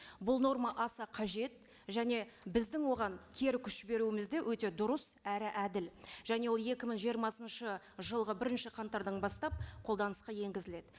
бұл норма аса қажет және біздің оған кері күш беруіміз де өте дұрыс әрі әділ және ол екі мың жиырмасыншы жылғы бірінші қаңтардан бастап қолданысқа енгізіледі